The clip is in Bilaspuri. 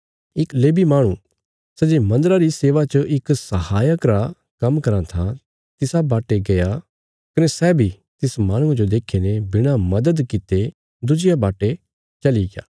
इक लेवी माहणु सै जे मन्दरा री सेवा च इक सहायक रा काम्म कराँ था तिसा वाटे गया कने सै बी तिस माहणुये जो देखीने बिणा मदद कित्ते दुजिया वाटे चलिग्या